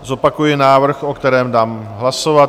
Zopakuji návrh, o kterém dám hlasovat.